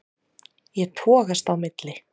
Ég togast á milli.